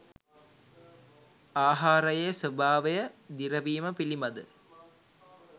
ආහාරයේ ස්වභාවය දිරවීම පිළිබඳ